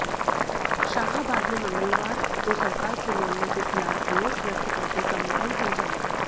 शाहाबाद में मंगलवार को सरकार के निर्णय के खिलाफ रोष व्यक्त करते कंबाइन संचालक